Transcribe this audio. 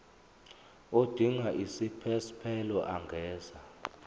odinga isiphesphelo angenza